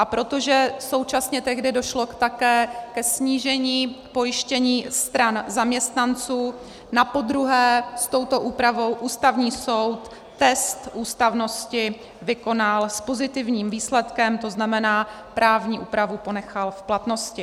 A protože současně tehdy došlo také ke snížení pojištění stran zaměstnanců, napodruhé s touto úpravou Ústavní soud test ústavnosti vykonal s pozitivním výsledkem, to znamená, právní úpravu ponechal v platnosti.